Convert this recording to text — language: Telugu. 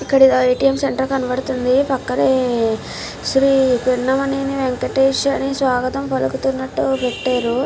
ఇక్కడ ఏ.టీ.ఎం. సెంటర్ కనబడుతుంది పక్కనే శ్రీ పిన్నమనేని వెంకటేశారి స్వాగతం పలుకుతున్నట్టు పెట్టారు.